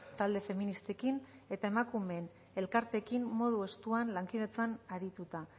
talde feministekin eta emakumeen elkarteekin modu estuan lankidetzan arituta